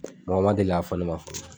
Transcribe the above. Mɔgɔ ma deli k'a fɔ ne ma fɔ